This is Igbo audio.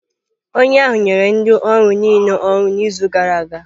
Onye ahụ nyere ndị ọrụ niile ọrụ n'izu gara aga.